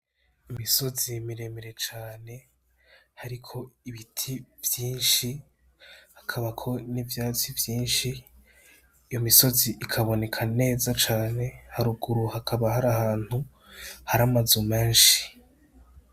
Imisozi miremire cane hariko ibiti vyinshi, hakabako n'ivyatsi vyinshi. Iyo misozi ikaboneka neza cane, haruguru hakaba hari ahantu hari amazu menshi.